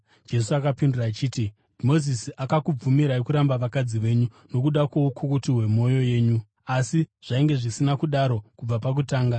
Jesu akapindura achiti, “Mozisi akakubvumirai kuramba vakadzi venyu nokuda kwoukukutu hwemwoyo yenyu. Asi zvainge zvisina kudaro kubva pakutanga.